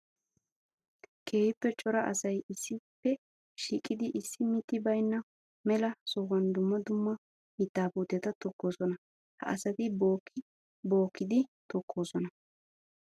Keehippe cora asay issippe shiiqiddi issi mitti baynna mela sohuwan dumma dumma mitta puutetta tokossonna. Ha asatti bookki bookkiddi tokkosonna.